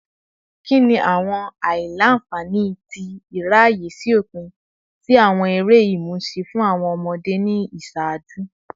Kini awọn aila-nfani ti iraye si opin si awọn ere imusin fun awọn ọmọde ni iṣaaju?